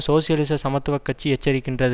சோசியலிச சமத்துவ கட்சி எச்சரிக்கின்றது